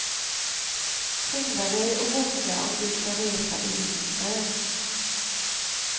Skynda dig att boka om du ska resa i vinter.